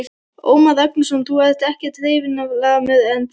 Ómar Ragnarsson: Þú ert ekkert hreyfihamlaður, er það?